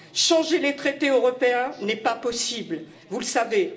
Changer les traités européens n'est pas possible, vous le savez